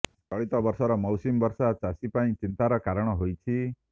ଚଳିତ ବର୍ଷର ମୌସୁମୀ ବର୍ଷା ଚାଷୀ ପାଇଁ ଚିନ୍ତାର କାରଣ ହୋଇଛି